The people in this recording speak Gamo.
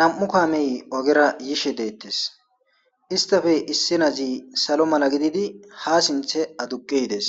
Nam'u kaamey ogera yishe deettes istafey issinazi salo mala gididi ha sinthe aduqiides